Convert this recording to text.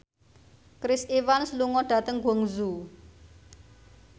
Chris Evans lunga dhateng Guangzhou